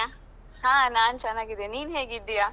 ಹ ನಾನ್ ಚೆನ್ನಾಗಿದ್ದೇನೆ. ನೀನ್ ಹೇಗಿದ್ದಿಯಾ?